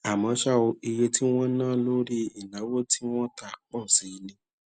àmó ṣá o iye tí wón ná lórí ìnáwó tí wón tà pò sí i ní